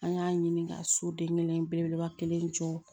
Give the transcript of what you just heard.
An y'a ɲini ka soden kelen belebeleba kelen jɔ